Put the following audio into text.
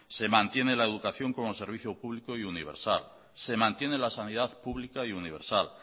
se mantiene la educación como servicio público y universal se mantiene la sanidad pública y universal